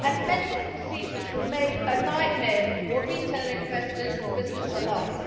Many procedures remain a nightmare for retail investors and businesses alike.